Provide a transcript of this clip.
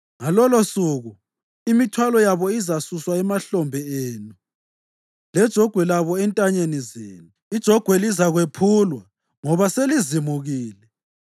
Ngalolosuku imithwalo yabo izasuswa emahlombe enu, lejogwe labo entanyeni zenu; ijogwe lizakwephulwa ngoba selizimukile.